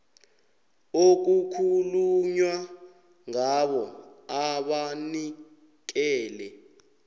okukhulunywa ngabo abanikele